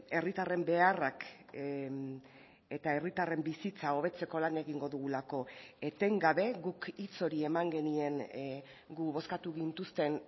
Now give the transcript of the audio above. herritarren beharrak eta herritarren bizitza hobetzeko lan egingo dugulako etengabe guk hitz hori eman genien gu bozkatu gintuzten